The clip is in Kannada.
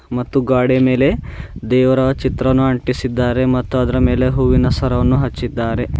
ಮತ್ತು ಗ್ವಾಡೆಯ ಮೇಲೆ ದೇವರ ಚಿತ್ರವನ್ನು ಅಂಟಿಸಿದ್ದಾರೆ ಮತ್ತು ಅದರ ಮೇಲೆ ಹೂವಿನ ಸರವನ್ನು ಹಚ್ಚಿದ್ದಾರೆ.